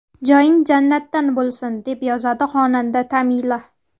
Joying jannatdan bo‘lsin”, deb yozadi xonanda Tamila.